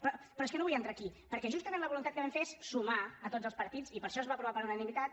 però és que no vull entrar aquí perquè justament la voluntat que vam fer és sumar tots els partits i per això es va aprovar per unanimitat